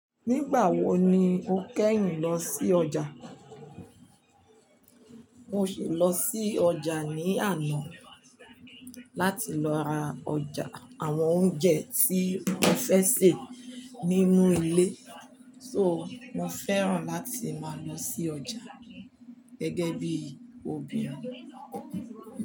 Nigba wo ni o keyin lo si oja. Mo si lo si losi oja ni ana, lati lo ra oja, awon ounje ti mo fe se ninu ile. So, mo fẹ́ràn láti máa lọ sí ọjà gẹ́gẹ́ bí obìnrin.